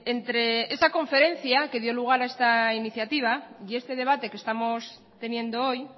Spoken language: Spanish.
entre esa conferencia que dio lugar a esta iniciativa y este debate que estamos teniendo hoy